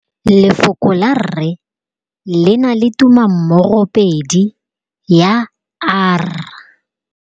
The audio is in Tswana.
Lefoko la rre le na le tumammogôpedi ya, r.